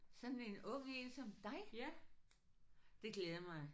Sådan en ung en som dig? Det glæder mig